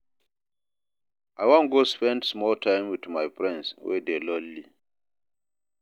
I wan go spend small time wit my friend wey dey lonely.